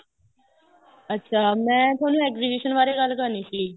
ਅੱਛਾ ਮੈਂ ਤੁਹਾਨੂੰ exhibition ਬਾਰੇ ਗੱਲ ਕਰਨੀ ਸੀ